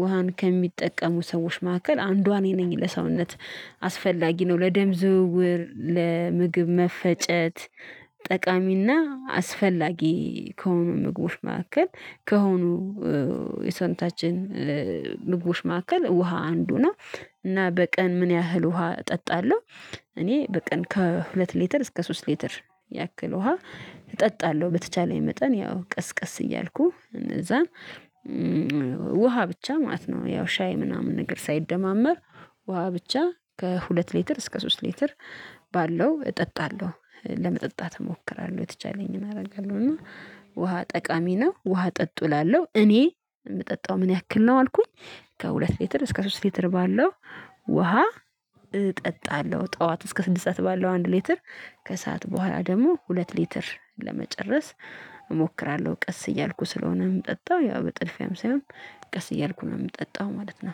ውሃን ከሚጠቀሙ ሰዎች መካከል አንዷ እኔ ነኝ ለሰውነት አስፈላጊ ነው ለደም ዝውውር ለምግብ መፈጨት ጠቃሚና አስፈላጊ ከሆኑ ምግቦች መካከል ከሆኑ የሰውነታችን ምግቦች መካከል ውሃ አንዱ ነው። እና በቀን ምን ያህል ውሃ እጠጣለሁ? እኔ በቀን ከሁለት ሊትር እስከ ሶስት ሊትር ያክል ውሃ እጠጣለሁ። በተቻለኝ መጠን ያው ቀስ ቀስ እያልኩ እነዛ ውሃ ብቻ ማለት ነው። ያው ሻይ ምናምን ነገር ሳይደማመር ውሃ ብቻ ከሁለት ሊትር እስከ ሶስት ሊትር። ባለው እጠጣለሁ ለመጠጣት እሞክራለሁ የተቻለኝን አደርጋለሁ። እና ውሃ ጠቃሚ ነው ውሃ ጠጡ እላለሁ። እኔ የምጠጣው ምን ያክል ነው አልኩኝ? ከሁለት ሌትር እስከ ሶስት ሌትር ባለው ውሃ እጠጣለሁ። ጠዋት እስከ ስድስት ሰዓት ባለው አንድ ሌትር ከሰአት በኋላ ደግሞ ሁለት ሊትር ለመጨረስ እሞክራለሁ። ቀስ እያልኩ ስለሆነም ጠጣሁ ያ በጥድፊያም ሳይሆን ቀስ እያልኩ ነው የምጠጣው ማለት ነው